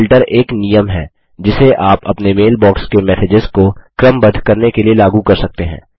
filter एक नियम है जिसे आप अपने मेल बॉक्स के मैसेजेस को क्रमबद्ध करने के लिए लागू कर सकते हैं